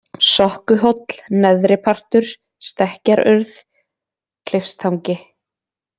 Sokkuhóll, Neðri-Partur, Stekkjarurð, Klifstangi